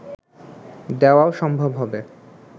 দেওয়াও সম্ভব হবে